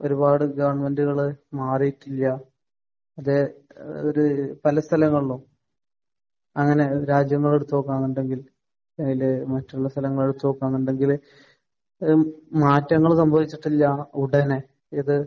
ഒരുപാട് ഗവൺമെന്റുകൾ മാറിയിട്ടില്ല. മറ്റേ ഒരു ഏഹ് പല സ്ഥലങ്ങളിലും. അങ്ങനെ രാജ്യങ്ങൾ എടുത്തുനോക്കുകയാണെന്നുണ്ടെങ്കിൽ അതിൽ മറ്റുള്ള സ്ഥലങ്ങൾ വെച്ച് നോക്കുകയാണെന്നുണ്ടെങ്കിൽ ഒരു മാറ്റങ്ങൾ സംഭവിച്ചിട്ടില്ല ഉടനെ. ഏത്?